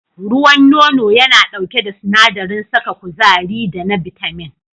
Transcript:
Ruwan nono yana ɗauke da sinadarin saka kuzari da na bitamin.